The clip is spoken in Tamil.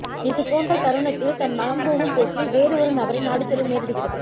இது போன்ற தருணத்தில் தன் மனம் போகும் போக்கில் வேறு ஒரு நபரை நாடி செல்ல நேரிடுகிறது